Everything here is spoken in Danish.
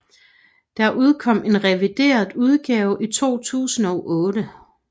Der udkom en revideret udgave i 2008